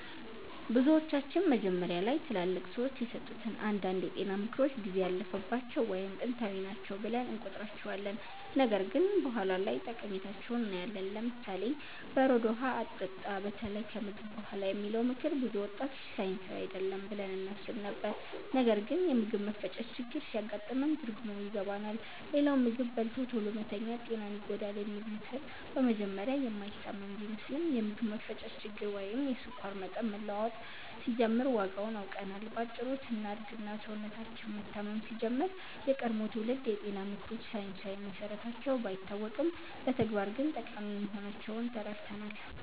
ብዙዎቻችን መጀመሪያ ላይ ትላልቅ ሰዎች የሰጡትን አንዳንድ የጤና ምክሮች ጊዜ ያለፈባቸው ወይም ጥንታዊ ናቸው ብለን እንቆጥራቸዋለን፣ ነገር ግን በኋላ ላይ ጠቃሚነታቸውን እናያለን። ለምሳሌ፦ "በረዶ ውሃ አትጠጣ፣ በተለይ ከምግብ በኋላ" የሚለው ምክር ብዙ ወጣቶች ሳይንሳዊ አይደለም ብለን እናስብ ነበር፣ ነገር ግን የምግብ መፈጨት ችግር ሲያጋጥመን ትርጉሙን ይገባናል። ሌላው "ምግብ በልቶ ቶሎ መተኛት ጤናን ይጎዳል" የሚለው ምክር በመጀመሪያ የማይታመን ቢመስልም፣ የምግብ መፈጨት ችግር ወይም የስኳር መጠን መለዋወጥ ሲጀምር ዋጋውን አውቀናል። በአጭሩ ስናድግ እና ሰውነታችን መታመም ሲጀምር፣ የቀድሞ ትውልድ የጤና ምክሮች ሳይንሳዊ መሰረታቸው ባይታወቅም በተግባር ግን ጠቃሚ መሆናቸውን ተረድተናል።